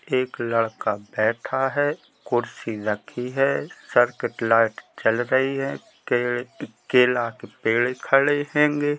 एक लड़का बैठा है कुर्सी रखी है छत की लाइट जल रही है। केले के पेड़ खड़े होगें।